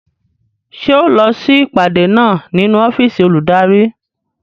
Ṣé ẹ ó lọ sí ìpàdé náà nínú ọ́fìsì olùdarí